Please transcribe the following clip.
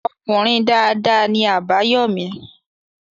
Ọkùnrin dada ni Àbáyọ́mí.